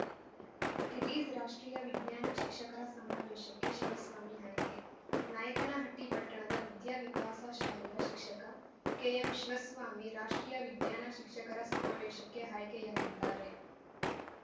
ರಿಲೀಸ್‌ರಾಷ್ಟ್ರೀಯ ವಿಜ್ಞಾನ ಶಿಕ್ಷಕರ ಸಮಾವೇಶಕ್ಕೆ ಶಿವಸ್ವಾಮಿ ಆಯ್ಕೆ ನಾಯಕನಹಟ್ಟಿ ಪಟ್ಟಣದ ವಿದ್ಯಾವಿಕಾಸ ಶಾಲೆಯ ಶಿಕ್ಷಕ ಕೆಎಂಶಿವಸ್ವಾಮಿ ರಾಷ್ಟ್ರೀಯ ವಿಜ್ಞಾನ ಶಿಕ್ಷಕರ ಸಮಾವೇಶಕ್ಕೆ ಆಯ್ಕೆಯಾಗಿದ್ದಾರೆ